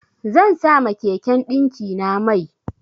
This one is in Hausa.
Zan sa ma keken ɗinkina mai.